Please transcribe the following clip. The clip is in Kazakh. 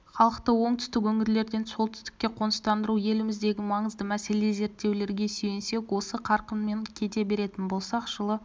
халықты оңтүстік өңірлерден солтүстікке қоныстандыру еліміздегі маңызды мәселе зерттеулерге сүйенсек осы қарқынмен кете беретін болсақ жылы